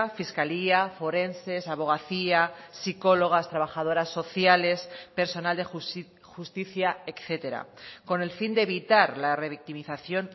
fiscalía forenses abogacía psicólogas trabajadoras sociales personal de justicia etcétera con el fin de evitar la revictimización